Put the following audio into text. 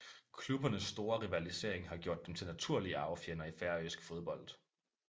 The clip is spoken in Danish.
Klubbernes store rivalisering har gjort dem til naturlige arvefjender i Færøsk fodbold